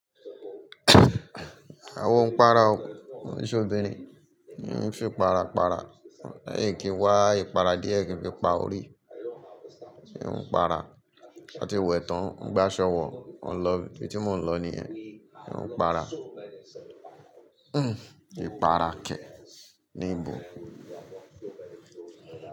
Àwa oo ń para ọ, mi se obìnrin, ó ń fi parapara, leyin kìí wá ipara diẹ kí n fi pa orí, ń para, ṣe ti wẹ̀ tán, gbá ṣọ̀wọ̀, ọ̀ lọ, ibi tí mò ń lọ nìyẹn, ń para, ìpara kẹ̀ ní ìbò.